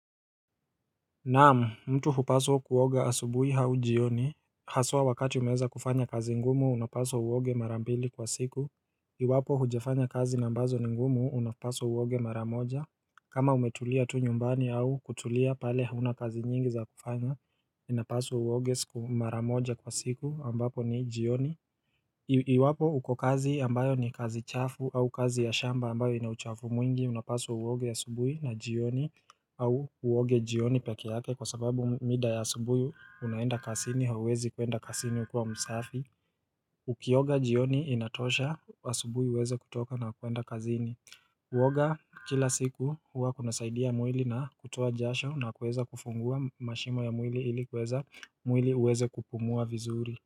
Naamu mtu hupaswa kuoga asubuhi au jioni Haswa wakati unaweza kufanya kazi ngumu unapaswa uoge marambili kwa siku Iwapo hujefanya kazi ambazo ni ngumu unapaswa uoge mara moja kama umetulia tu nyumbani au kutulia pale hauna kazi nyingi za kufanya inapaswa uoge maramoja kwa siku ambapo ni jioni Iwapo uko kazi ambayo ni kazi chafu au kazi ya shamba ambayo inauchafu mwingi unapasu uoge ya subuhi na jioni au uoge jioni peke yake kwa sababu mida ya subuhi unaenda kasini hawezi kuenda kasini ukua msafi Ukioga jioni inatosha asubuhi uweze kutoka na kuenda kazini Kuoga kila siku huwa kuna saidia mwili na kutoa jasho na kuweza kufungua mashimo ya mwili ili kuweza mwili uweze kupumua vizuri.